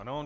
Ano.